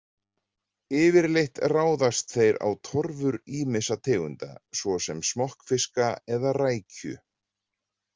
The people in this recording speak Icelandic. Yfirleitt ráðast þeir á torfur ýmissa tegunda, svo sem smokkfiska eða rækju.